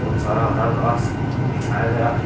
सारा हरा घास बिछाया गया है।